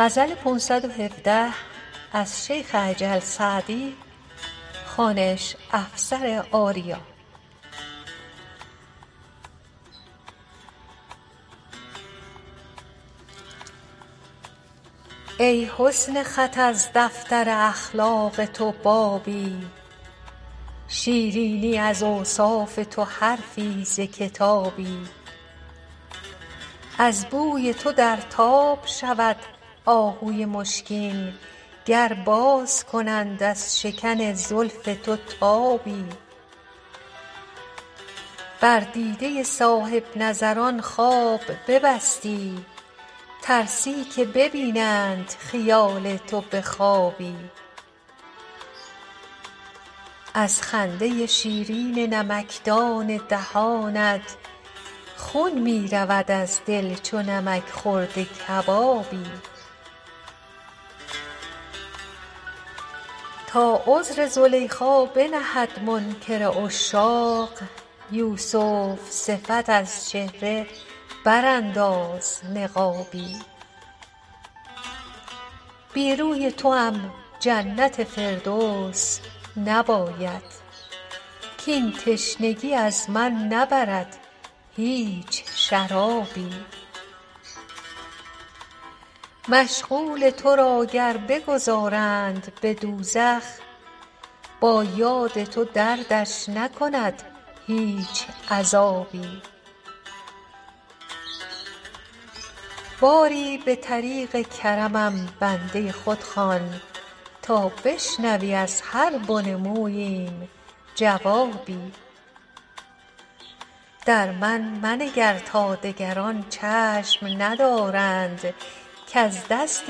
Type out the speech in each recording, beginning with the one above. ای حسن خط از دفتر اخلاق تو بابی شیرینی از اوصاف تو حرفی ز کتابی از بوی تو در تاب شود آهوی مشکین گر باز کنند از شکن زلف تو تابی بر دیده صاحب نظران خواب ببستی ترسی که ببینند خیال تو به خوابی از خنده شیرین نمکدان دهانت خون می رود از دل چو نمک خورده کبابی تا عذر زلیخا بنهد منکر عشاق یوسف صفت از چهره برانداز نقابی بی روی توام جنت فردوس نباید کاین تشنگی از من نبرد هیچ شرابی مشغول تو را گر بگذارند به دوزخ با یاد تو دردش نکند هیچ عذابی باری به طریق کرمم بنده خود خوان تا بشنوی از هر بن موییم جوابی در من منگر تا دگران چشم ندارند کز دست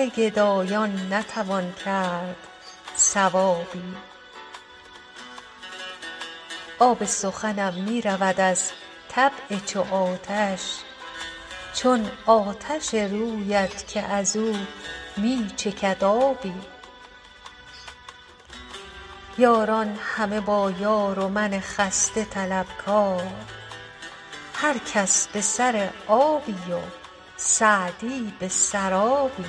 گدایان نتوان کرد ثوابی آب سخنم می رود از طبع چو آتش چون آتش رویت که از او می چکد آبی یاران همه با یار و من خسته طلبکار هر کس به سر آبی و سعدی به سرابی